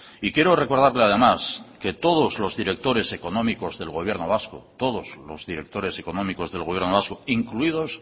y quiero recordarle además que todos los directores económicos del gobierno vasco todos los directores económicos del gobierno vasco incluidos